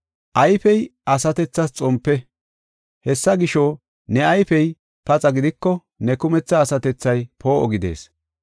“Ayfey asatethas xompe. Hessa gisho, ne ayfey paxa gidiko ne kumetha asatethay poo7o gidees.